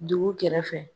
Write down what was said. Dugu kɛrɛfɛ